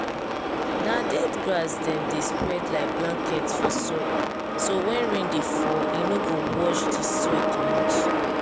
na dead grass dem dey spread like blanket for soil so when rain dey fall e no go wash de soil comot.